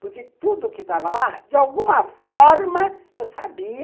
Porque tudo que estava lá, de alguma forma, eu sabia,